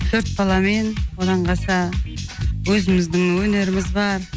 төрт баламен оннан қалса өзіміздің өнеріміз бар